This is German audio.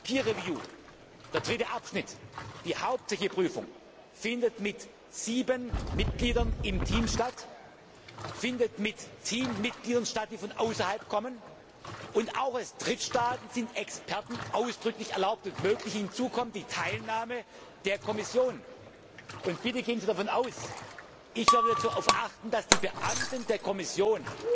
Peer review der dritte Abschnitt, die hauptsächliche Prüfung findet mit sieben Mitgliedern eines Teams statt, findet mit Teammitgliedern statt, die von außerhalb kommen, und auch aus Drittstaaten sind Experten ausdrücklich erlaubt, hinzu kommt die Teilnahme der Kommission. Bitte gehen Sie davon aus, dass ich darauf achten werde, dass die Beamten der Kommission